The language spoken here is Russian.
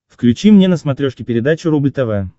включи мне на смотрешке передачу рубль тв